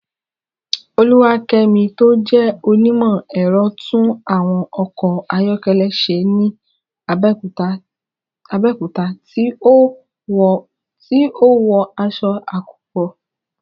Oluwakemi tó jẹ́ onímọ̀ ẹ̀rọ, tún àwọn ọkọ̀ ayọ́kẹ́lẹ́ ṣe ní Abẹ́òkúta tí ó wọ aṣọ àkópọ̀.